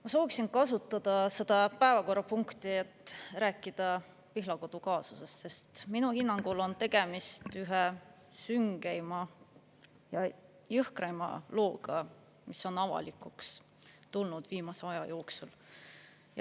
Ma sooviksin kasutada seda päevakorrapunkti, et rääkida Pihlakodu kaasusest, sest minu hinnangul on tegemist ühe süngeima ja jõhkraima looga, mis on avalikuks tulnud viimase aja jooksul.